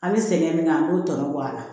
An bɛ sɛgɛn min kɛ an k'o tɔnɔ bɔ a la